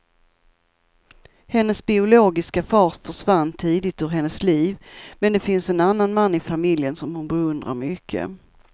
Hennes biologiska far försvann tidigt ur hennes liv, men det finns en annan man i familjen som hon beundrar mycket.